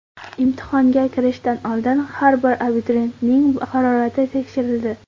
Imtihonga kirishdan oldin har bir abituriyentning harorati tekshirildi.